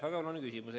Väga oluline küsimus.